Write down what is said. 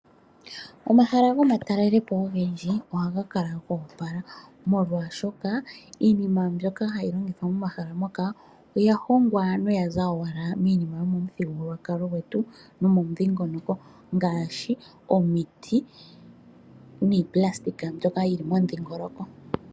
Omahala gomatalele po ogendji oha ga kala go opala, molwaashoka iinima mbyoka ha yi longithwa momahala moka oya hongwa noya za owala miinima yo momuthigululwakalo gwetu no momudhingonoko, ngaashi omiti niipulastika mbyoka yi li momudhiingoloko.